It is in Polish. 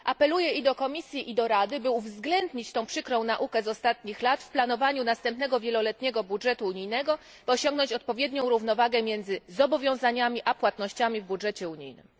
Apeluję i do Komisji i do Rady, by uwzględnić tę przykrą naukę z ostatnich lat w planowaniu następnego wieloletniego budżetu unijnego, by osiągnąć odpowiednią równowagę między zobowiązaniami a płatnościami w budżecie unijnym.